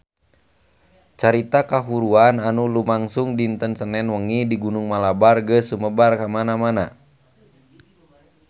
Carita kahuruan anu lumangsung dinten Senen wengi di Gunung Malabar geus sumebar kamana-mana